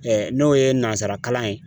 Ɛɛ n'o ye nansarakalan ye